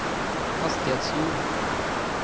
hastighetshjul